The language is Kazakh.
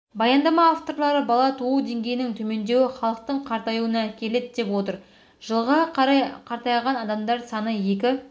баяндама авторлары бала туу деңгейінің төмендеуі халықтың қартаюына әкеледі деп отыр жылға қарай қартайған адамдар саны екі